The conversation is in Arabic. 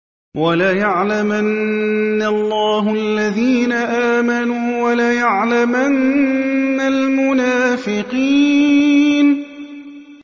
وَلَيَعْلَمَنَّ اللَّهُ الَّذِينَ آمَنُوا وَلَيَعْلَمَنَّ الْمُنَافِقِينَ